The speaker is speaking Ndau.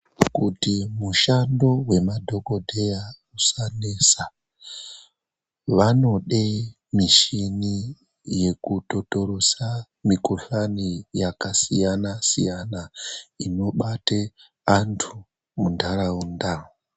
Kuti mushando wemadhokoteya usanesa, vanode mishini yekutotoresa mikuhlani yakasiyana siyana inobate anthu mundaraunda.